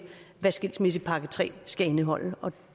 hvad skilsmissepakke tre skal indeholde og